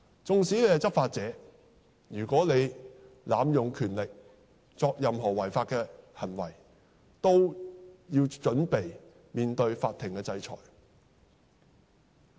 縱使是執法者，如果濫用權力，作出任何違法的行為，都要準備面對法庭的制裁。